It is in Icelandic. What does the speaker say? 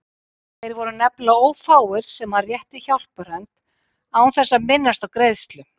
Þeir voru nefnilega ófáir sem hann rétti hjálparhönd án þess að minnast á greiðslu.